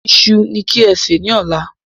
Iṣu ní kí ẹ sè ni ọ̀la